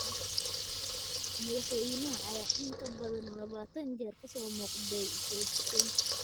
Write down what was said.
Madaxweynaha ayaa in ka badan labaatan jeer ka soo muuqday telefiishanka.